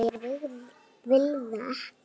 Ég vil það ekki.